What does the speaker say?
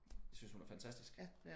Jeg synes hun er fantastisk